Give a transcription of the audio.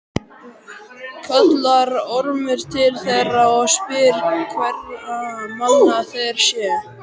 Kallar Ormur til þeirra og spyr hverra manna þeir séu.